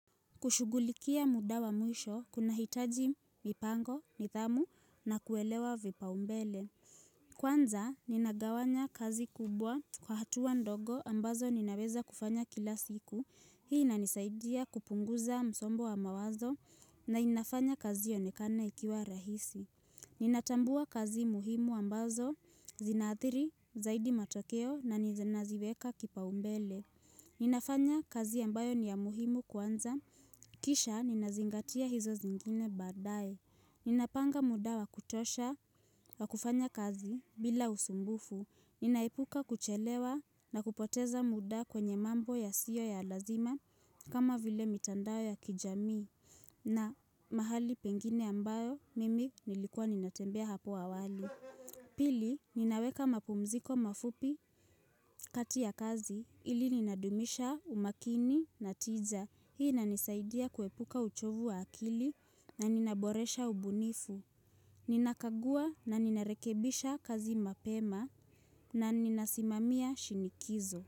Kushugulikia muda wa mwisho, kunahitaji mipango, nidhamu na kuelewa vipaumbele. Kwanza, ninagawanya kazi kubwa kwa hatua ndogo ambazo ninaweza kufanya kila siku. Hii inanisaidia kupunguza msongo wa mawazo na inafanya kazi ionekane ikiwa rahisi. Ninatambua kazi muhimu ambazo zinaathiri zaidi matokeo na ninaziweka kipaumbele. Ninafanya kazi ambayo ni ya muhimu kwanza, kisha ninazingatia hizo zingine badaye Ninapanga muda wa kutosha wa kufanya kazi bila usumbufu Ninaepuka kuchelewa na kupoteza muda kwenye mambo yasiyo ya lazima kama vile mitandao ya kijamii na mahali pengine ambayo mimi nilikua ninatembea hapo awali Pili, ninaweka mapumziko mafupi kati ya kazi ili ninadumisha umakini na tiza. Hii inanisaidia kuepuka uchovu wa akili na ninaboresha ubunifu. Ninakagua na ninarekebisha kazi mapema na ninasimamia shinikizo.